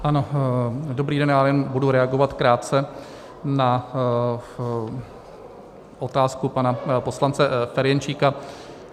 Ano, dobrý den, já jen budu reagovat krátce na otázku pana poslance Ferjenčíka.